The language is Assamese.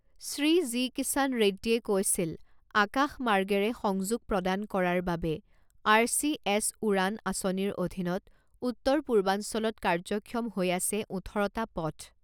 শ্ৰী জি কিষাণ ৰেড্ডিয়ে কৈছিল আকাশমাৰ্গেৰে সংযোগ প্ৰদান কৰাৰ বাবে আৰ চি এছ উড়ান আঁচনিৰ অধীনত উত্তৰ পূৰ্বাঞ্চলত কাৰ্যক্ষম হৈ আছে ওঠৰটা পথ